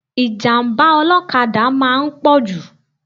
Ìjàm̀bá ọlọ́kada máa ń pọ̀jù